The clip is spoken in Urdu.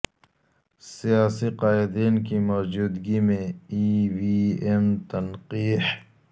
سیاسی قائدین کی موجودگی میں ای وی ایم تنقیح